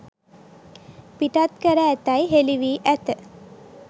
පිටත් කර ඇතැයි හෙළි වී ඇත.